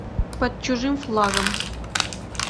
под чужим флагом